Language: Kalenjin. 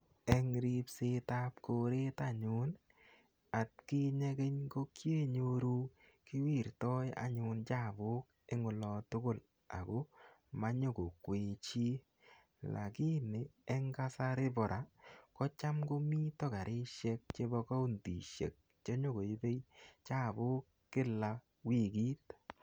Eng' ripsetap koret anyun i, atkinye keny ko kiinyoru kiwirtai anyun chapuk eng' ola tugul ako manyu ko kwee chi lakini eng' kasari pa ra ko cham komita karishek chepo kauntishek che cham nyu koipe chapuk kila wikit.